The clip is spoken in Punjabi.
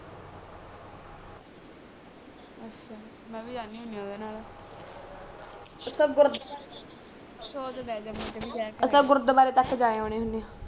ਅੱਛਾ ਮੈਂ ਵੀ ਜਾਂਦੀ ਹੁੰਦੀ ਆ ਉਦੇ ਨਾਲ ਅੱਛਾ ਗੁਰੂ ਸੋਚਦੇ ਆ ਅੱਛਾ ਗੁਰੁਦਵਾਰੇ ਤਕ ਜਾ ਆਉਣੇ ਹੁੰਦੇ ਆ